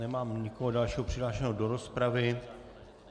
Nemám nikoho dalšího přihlášeného do rozpravy.